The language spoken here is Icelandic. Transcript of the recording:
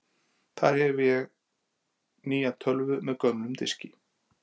Þar með hef ég nýja tölvu með gömlum diski.